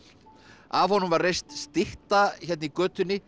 af honum var reist stytta hérna í götunni